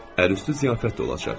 Əl üstü ziyafət də olacaq.